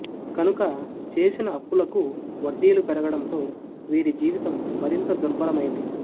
కనుక చేసిన అప్పులకు వడ్డీలు పెరగటంతో వీరి జీవితం మరిం త దుర్బరమైంది